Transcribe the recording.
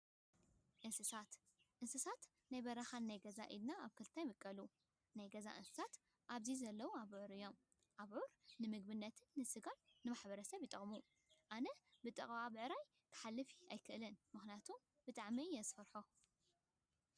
እንስሳት፦ እንስሳት ናይ በረካንናይ ገዛን እንስሳት ኢልና ኣብ ክልተ ይምቀሉ። ካብ ናይ ገዛ እንስሳት ኣብዚ ዘለው ኣቡዕር እዮም። ኣቡዕር ንምግብነት ስጋን ንማሕረስን ይጠቅሙና። ኣነ ብጥቃ ብዕራይ ከሓልፍ ኣይደልን፤ ምኽንያቱ ብጣዕሚ እየ ዝፈርሖም።